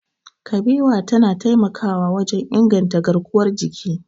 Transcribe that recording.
Kabewa tana taimakawa wajen inganta garkuwar jiki.